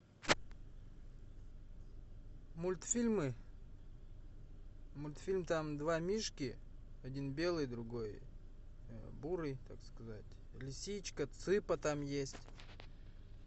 мультфильмы мультфильм там два мишки один белый другой бурый так сказать лисичка цыпа там есть